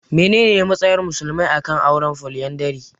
Menene matsayar musulmai a kan auren Foliyandari?